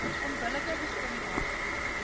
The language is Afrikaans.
onbillike diskri minasie